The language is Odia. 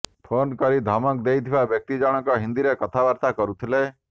ଫୋନ୍ କରି ଧମକ ଦେଇଥିବା ବ୍ୟକ୍ତି ଜଣଙ୍କ ହିନ୍ଦୀରେ କଥାବାର୍ତ୍ତା କରୁଥିଲେ